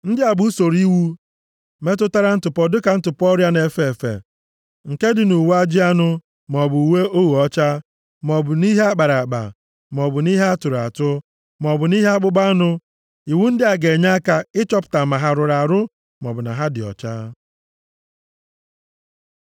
Ndị a bụ usoro iwu metụtara ntụpọ dịka ntụpọ ọrịa na-efe efe nke dị nʼuwe ajị anụ maọbụ uwe ogho ọcha, maọbụ nʼihe a kpara akpa maọbụ nʼihe a tụrụ atụ, maọbụ nʼihe akpụkpọ anụ. Iwu ndị a ga-enye aka ịchọpụta ma ha rụrụ arụ, maọbụ na ha dị ọcha.